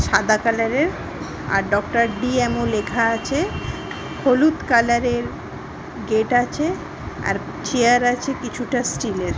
সাদা কালাররের আর ডক্টর ডি. এম. ও লেখা আছে। হলুদ কালারের গেট আছে। আর চেয়ার আছে কিছুটা স্টিলের ।